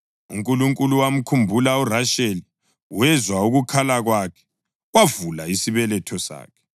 UNkulunkulu wamkhumbula uRasheli; wezwa ukukhala kwakhe wavula isibeletho sakhe.